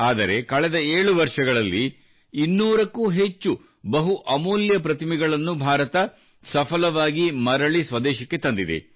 ಆದರೆ ಕಳೆದ 7 ವರ್ಷಗಳಲ್ಲಿ 200 ಕ್ಕೂ ಹೆಚ್ಚು ಬಹು ಅಮೂಲ್ಯ ಪ್ರತಿಮೆಗಳನ್ನು ಭಾರತ ಸಫಲವಾಗಿ ಮರಳಿ ಸ್ವದೇಶಕ್ಕೆ ತಂದಿದೆ